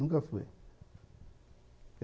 Nunca fui.